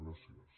gràcies